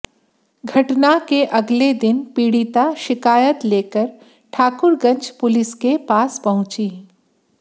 घटना के अगले दिन पीडि़ता शिकायत लेकर ठाकुरगंज पुसिल के पास पहुंची